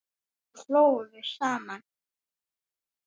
Svo hlógum við saman.